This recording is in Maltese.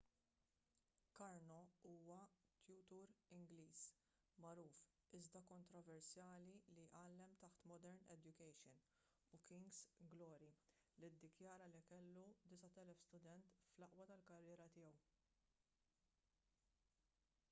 karno huwa tutur ingliż magħruf iżda kontroversjali li għallem taħt modern education u king's glory li ddikjara li kellu 9,000 student fl-aqwa tal-karriera tiegħu